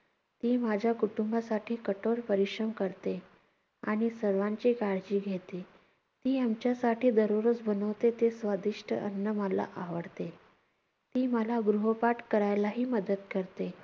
ती माझ्या कुटुंबासाठी कठोर परिश्रम करते. आणि सर्वांची काळजी घेते. ती आमच्यासाठी दररोज बनवते ते स्वादिष्ट अन्न मला आवडते. ती मला गृहपाठ करायलाही मदत करते.